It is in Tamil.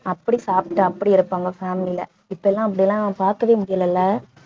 அப்படி சாப்பிட்டு அப்படி இருப்பாங்க family ல இப்பலாம் அப்படிலாம் பார்க்கவே முடியலை இல்லை